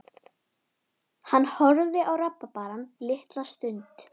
Ég horfði á sjónvarpið þar til gestirnir komu.